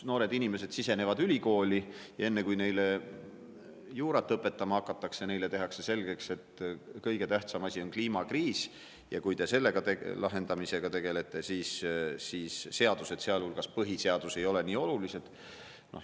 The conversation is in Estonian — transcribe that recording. Noored inimesed astuvad ülikooli ja enne, kui neile juurat õpetama hakatakse, tehakse neile selgeks, et kõige tähtsam asi on kliimakriis ja kui te selle lahendamisega tegelete, siis seadused, sealhulgas põhiseadus, ei ole nii olulised.